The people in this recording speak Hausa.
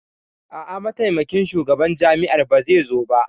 A'a, Mataimakin Shugaban Jami'ar ba zai zo ba.